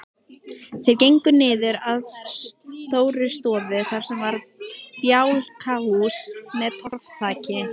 Þeir gengu niður að Stórustofu sem var bjálkahús með torfþaki.